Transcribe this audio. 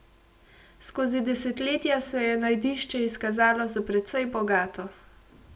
Skozi desetletja se je najdišče izkazalo za precej bogato.